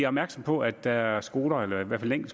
opmærksomme på at der er skoler eller i hvert fald en